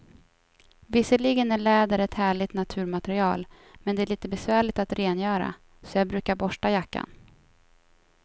Visserligen är läder ett härligt naturmaterial, men det är lite besvärligt att rengöra, så jag brukar borsta jackan.